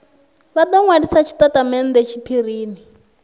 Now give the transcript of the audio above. vha do nwalisa tshitatamennde tshiphirini